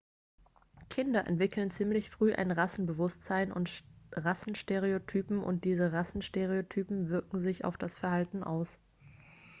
kinder entwickeln ziemlich früh ein rassenbewusstsein und rassenstereotypen und diese rassenstereotypen wirken sich auf das verhalten aus